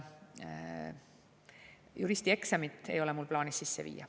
Juristi eksamit ei ole mul plaanis sisse viia.